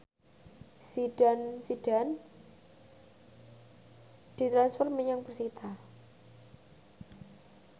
Zidane Zidane ditransfer menyang persita